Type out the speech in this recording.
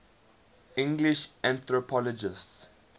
english anthropologists